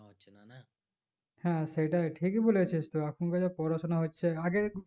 হ্যাঁ সেটাই ঠিকই বলেছিস তু এখন কার যা পড়াশোনা হচ্ছে আগে